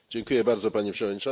Pani Przewodnicząca!